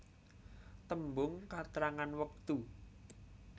Tembung katrangan wektu